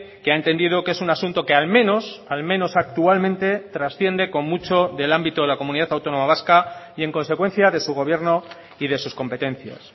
que ha entendido que es un asunto que al menos al menos actualmente trasciende con mucho del ámbito de la comunidad autónoma vasca y en consecuencia de su gobierno y de sus competencias